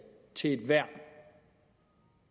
til et værn